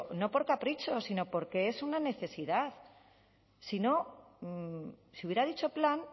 no por capricho sino porque es una necesidad si hubiera dicho plan